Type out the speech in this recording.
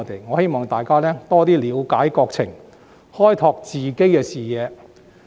我希望大家多些了解國情，開拓自己的視野。